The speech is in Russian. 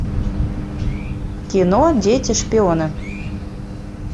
кино дети шпионы